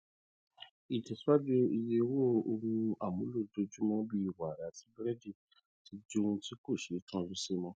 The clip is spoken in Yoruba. ìtẹsíwájú iye owó ohun amúlò ojoojúmọ bíi wara àti burẹdì ti di ohun tí kò ṣetán rísí mọ